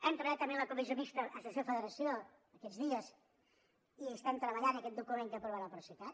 hem treballat també en la comissió mixta associació federació aquests dies i hi estem treballant en aquest document que aprovarà el procicat